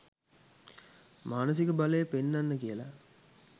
මානසික බලය පෙන්නන්න කියල.